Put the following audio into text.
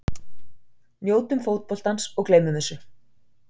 Njótum fótboltans og gleymum þessu.